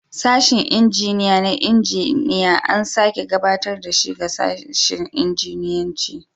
Sashen injiniya na injiniya an sake gabatar da shi ga sashin injiniyanci